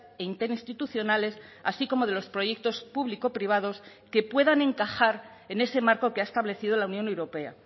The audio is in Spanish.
e interinstitucionales así como de los proyectos público privados que puedan encajar en ese marco que ha establecido la unión europea